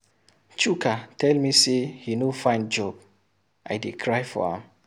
Chuka tell me say he no find job, I dey cry for am.